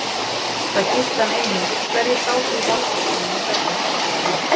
Það gilti hann einu, hverjir sátu í valdastólum í Berlín.